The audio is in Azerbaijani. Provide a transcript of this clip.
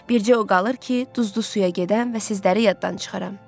Bircə o qalır ki, duzlu suya gedəm və sizləri yaddan çıxaram.